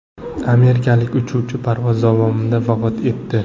Amerikalik uchuvchi parvoz davomida vafot etdi.